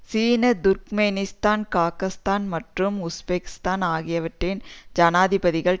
சீனா Turkmenistan Kazakhstan மற்றும் Uzbekistan ஆகியவற்றின் ஜனாதிபதிகள்